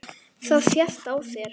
Það sést á þér